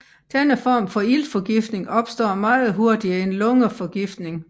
Denne form for iltforgiftning opstår meget hurtigere end lungeforgiftning